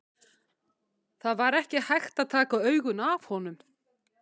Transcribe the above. Það var ekki hægt að taka augun af honum.